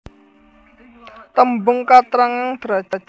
Tembung katrangan derajad